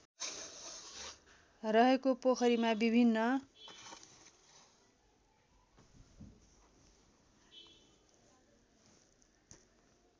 रहेको पोखरीमा विभिन्न